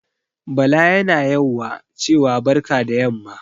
Bala yana yauwa cewa barka da yamma